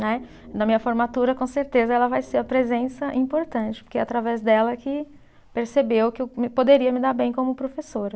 Né, na minha formatura, com certeza, ela vai ser a presença importante, porque através dela que percebeu que eu poderia me dar bem como professora.